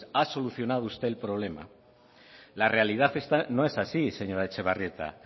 ha solucionado usted el problema la realidad no es así señora etxebarrieta